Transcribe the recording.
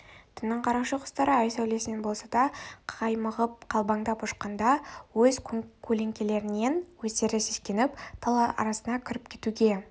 түннің қарақшы құстары ай сәулесінен болса да қаймығып қалбаңдап ұшқанда өз көлеңкелерінен өздері сескеніп тал арасына кіріп кетуге